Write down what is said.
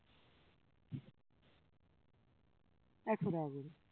একশো টাকা করে